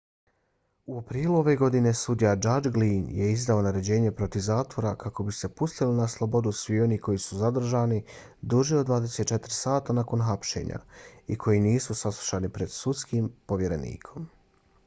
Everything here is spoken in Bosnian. u aprilu ove godine sudija judge glynn je izdao naređenje protiv zatvora kako bi se pustili na slobodu svi oni koji su zadržani duže od 24 sata nakon hapšenja i koji nisu saslušani pred sudskim povjerenikom